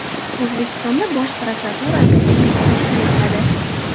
O‘zbekistonda Bosh prokuratura akademiyasi tashkil etiladi.